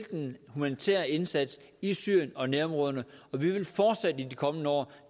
den humanitære indsats i syrien og nærområderne og vi vil fortsat i de kommende år